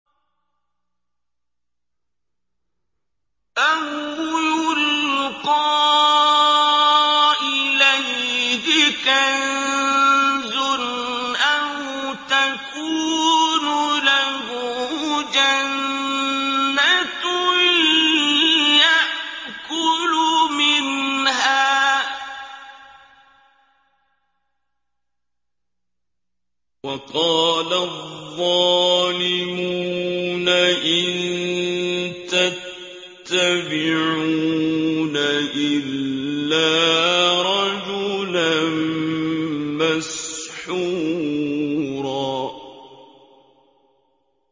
أَوْ يُلْقَىٰ إِلَيْهِ كَنزٌ أَوْ تَكُونُ لَهُ جَنَّةٌ يَأْكُلُ مِنْهَا ۚ وَقَالَ الظَّالِمُونَ إِن تَتَّبِعُونَ إِلَّا رَجُلًا مَّسْحُورًا